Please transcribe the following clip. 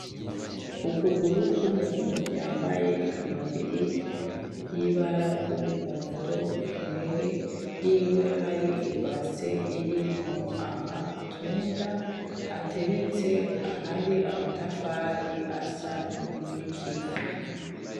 Ukuguru k'umuntu yambaye ikamambiri yibara ry'umuhondo imbere yiwe hari ibase irimwo amatunda ,ateretse ahantu hari amatafari asa nikivu .